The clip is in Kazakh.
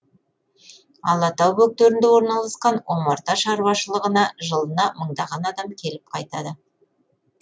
алатау бөктерінде орналасқан омарта шаруашылығына жылына мыңдаған адам келіп қайтады